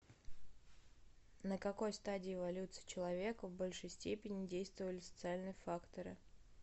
на какой стадии эволюции человека в большей степени действовали социальные факторы